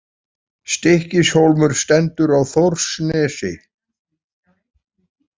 Stykkishólmur stendur á Þórsnesi.